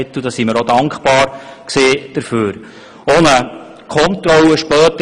Wir waren auch dankbar, dass dies gemacht wurde.